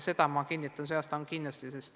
Ja ma kinnitan, et sel aastal see nii on.